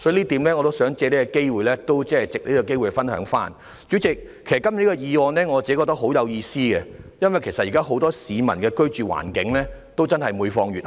代理主席，其實我個人認為今天這項原議案非常有意思，因為現在很多市民的居住環境每況愈下。